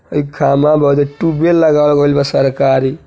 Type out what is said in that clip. हइ खम्बा बा होदे टूयब वेल लगावल गइल बा सरकारी |